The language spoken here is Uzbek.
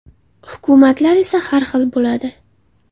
Hukumatlar esa har xil bo‘ladi.